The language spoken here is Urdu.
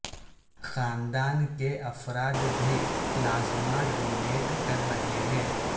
خاندان کے افراد بھی پلازما ڈونیٹ کر رہے ہیں